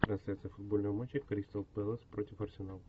трансляция футбольного матча кристал пэлас против арсенал